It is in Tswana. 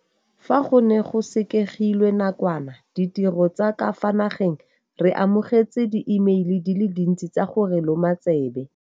"Fa go ne go sekegilwe nakwana ditiro tsa ka fa nageng re amogetse diimeile di le dintsi tsa go re loma tsebe."